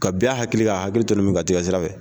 Ka bin a hakili la k'a hakili tɔnɔmin ka t'i ka sira fɛ.